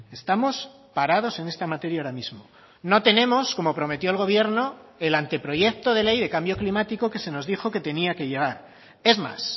estamos parados en esta materia ahora mismo no tenemos como prometió el gobierno el anteproyecto de ley de cambio climático que se nos dijo que tenía que llegar es más